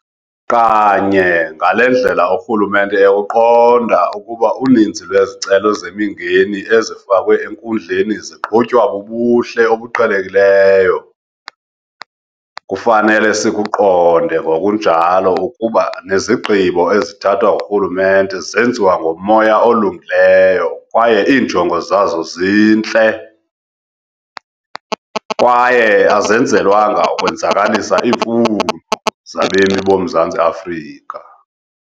Kanye ngale ndlela urhulumente ekuqonda ukuba uninzi lwezicelo zemingeni ezifakwe enkundleni ziqhutywa bubuhle obuqhelekileyo, kufanele sikuqonde ngokunjalo ukuba nezigqibo ezithathwa ngurhulumente zenziwa ngomoya olungileyo kwaye iinjongo zazo zintle, kwaye azenzelwanga ukwenzakalisa, iimfuno zabemi boMzantsi Afrika.